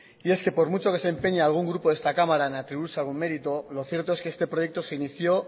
y es que por mucho que se empeñe algún grupo de esta cámara en atribuirse algún mérito lo cierto es que este proyecto se inició